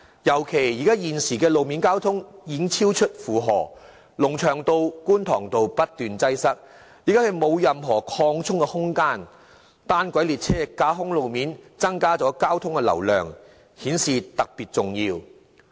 尤其現時路面交通已經超出負荷，龍翔道、觀塘道不斷出現交通擠塞，已經沒有任何擴充空間，而架空路面運行的單軌列車容許交通流量增加，因而顯得特別重要。